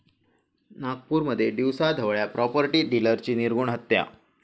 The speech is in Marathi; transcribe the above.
नागपूरमध्ये दिवसाढवळ्या प्राॅपर्टी डीलरची निर्घृण हत्या